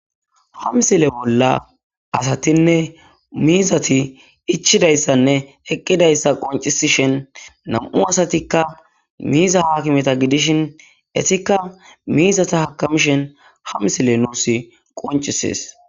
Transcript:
Ha msile bolla asatinne miizati ichidayssanne eqqidayssa qoncisi shen nam'u asatikka miiza haakimeta gidishin esikka miizata hakamishen hamsile nuus qoncisees.